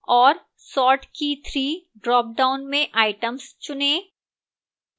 और sort key 3 dropdown में items चुनें